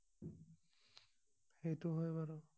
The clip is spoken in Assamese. সেইটো হয় বাৰু